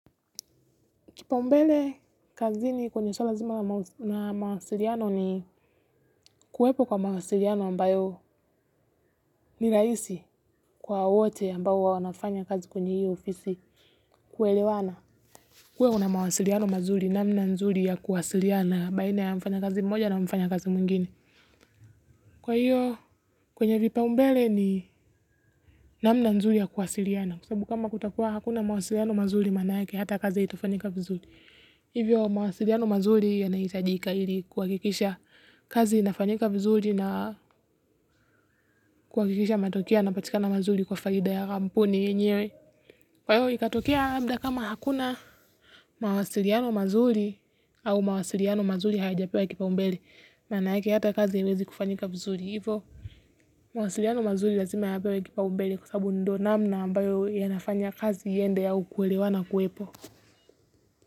Kipaumbele kazini kwenye suala nzima na mawasiliano ni kuwepo kwa mawasiliano ambayo ni rahisi kwa wote ambao wanafanya kazi kwenye hiyo ofisi kuelewana. Kuwe kuna mawasiliano mazuri namna nzuri ya kuwasiliana baina ya mfanyakazi mmoja na mfanyakazi mwingine. Kwa hiyo kwenye vipaumbele ni namna nzuri ya kuwasiliana kwa sababu kama kutakuwa hakuna mawasiliano mazuri manake hata kazi haitafanyika vizuri. Hivyo mawasiliano mazuri yanahitajika ili kuhakikisha kazi inafanyika vizuri na kuhakikisha matokeo yanapatikana mazuri kwa faida ya kampuni yenyewe. Kwa hivyo ikatokea labda kama hakuna mawasiliano mazuri au mawasiliano mazuri hayajapewa kipaumbele. Maana yake hata kazi haiwezi kufanyika vizuri hivyo mawasiliano mazuri lazima yapewe kipaumbele kwa sababu ndiyo namna ambayo yanafanya kazi iende au kuelewana kuwepo.